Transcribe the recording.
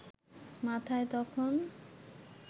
মাথায় তখন